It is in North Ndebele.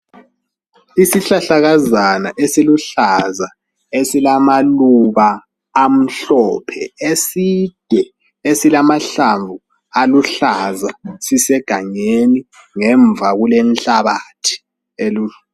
Isihlahlakazana esiluhlaza esilamaluba amhlophe eside esilamahlamvu aluhlaza sisegangeni ngemva kulenhlabathi.